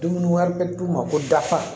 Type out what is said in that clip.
Dumuni wɛrɛ bɛ d'u ma ko dafa